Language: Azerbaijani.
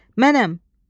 Mənəm!